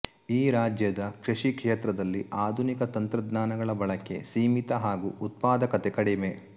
ಈ ರಾಜ್ಯದ ಕೃಷಿ ಕ್ಷೇತ್ರದಲ್ಲಿ ಆಧುನಿಕ ತಂತ್ರಜ್ಞಾನಗಳ ಬಳಕೆ ಸೀಮಿತ ಹಾಗೂ ಉತ್ಪಾದಕತೆ ಕಡಿಮೆ